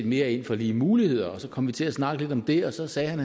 mere ind for lige muligheder og så kom vi til at snakke lidt om det og så sagde han